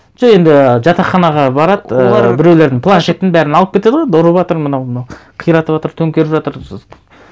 енді жатақханаға барады ыыы олар біреулердің планшетін бәрін алып кетеді ғой енді ұрыватыр мынау қиратыватыр төнкеріп жатыр